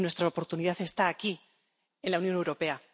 Y nuestra oportunidad está aquí, en la Unión Europea.